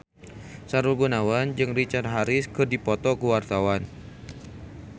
Sahrul Gunawan jeung Richard Harris keur dipoto ku wartawan